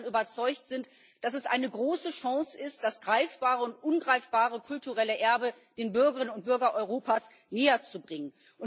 Weil wir davon überzeugt sind, dass es eine große Chance ist, das greifbare und ungreifbare kulturelle Erbe den Bürgerinnen und Bürgern Europas näher zu bringen.